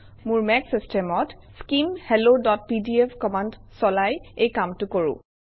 মোৰ মেক চিষ্টেমত স্কিম helloপিডিএফ কমাণ্ড চলাই এই কামটো কৰোঁ